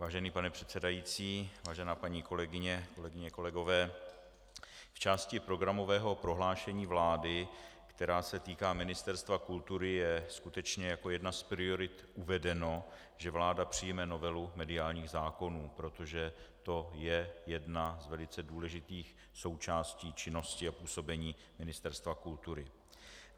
Vážený pane předsedající, vážená paní kolegyně, kolegyně, kolegové, v části programového prohlášení vlády, která se týká Ministerstva kultury, je skutečně jako jedna z priorit uvedeno, že vláda přijme novelu mediálních zákonů, protože to je jedna z velice důležitých součástí činnosti a působení Ministerstva kultury.